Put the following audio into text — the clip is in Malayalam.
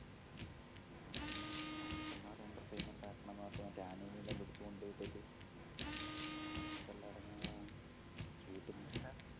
പിന്നെ വിഷമം മനുഷ്യൻമാരെ entertainment ആക്കണംന്ന് പറഞ്ഞിട്ട് ആനേനെയെല്ലാംപിടിച്ചു കൊണ്ടേയിട്ടിട്ട് ആനക്കെല്ലാം എടങ്ങേറാണ് ചൂടില് ടാ